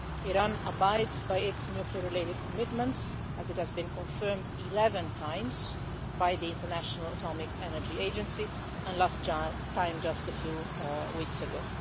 Iran abides by its nuclear related commitments, as has been confirmed 11 times by the International Atomic Energy Agency the last time was just a few weeks ago.